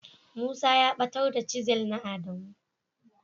Musa ya batar da "chisel " na adamu.